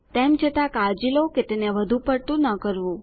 તેમ છતાં કાળજી લો કે તેને વધુપડતું ન કરવું